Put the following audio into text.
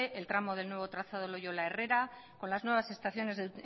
el tramo del nuevo trazado loiola herrera con las nuevas estaciones de